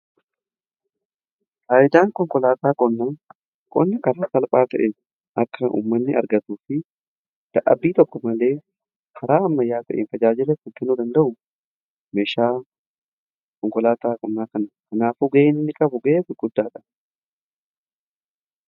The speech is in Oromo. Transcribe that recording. Faayidaan konkolaataa qonnaa qonni karaa salphaa ta'een akka uummanni argatuu fi dadhabbii tokko malee karaa ammayyaa ta'een tajaajila kan kennuu danda'u meeshaa konkolaataa qonnaa kanadha. Kanaafuu ga'ee inni qabu ga'ee guddaa dha.